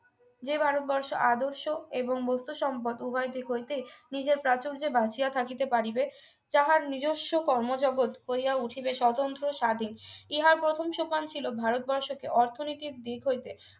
যে ভারত বর্ষ আদর্শ এবং বস্তু সম্পদ উভয় দিক হইতেই নিজের প্রাচুর্য বাঁচিয়ে থাকিতে পারিবে তাহার নিজস্ব কর্মজগৎ হইয়া উঠিবে স্বতন্ত্র স্বাধীন ইহার প্রথম সোপান ছিল ভারতবর্ষকে অর্থনীতির দিক হইতে